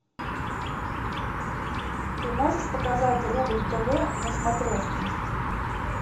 ты можешь показать рубль тв на смотрешке